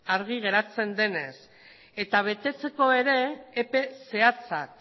argi geratzen denez eta betetzeko ere epe zehatzak